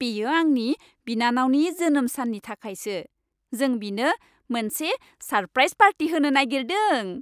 बेयो आंनि बिनानावनि जोनोम साननि थाखायसो। जों बिनो मोनसे सारप्राइज पार्टी होनो नागिरदों।